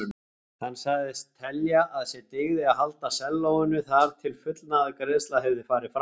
Hann sagðist telja að sér dygði að halda sellóinu þar til fullnaðargreiðsla hefði farið fram.